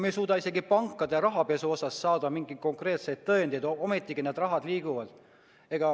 Me ei suuda isegi pankade rahapesu kohta mingeid konkreetseid tõendeid saada, ometi need rahad liiguvad.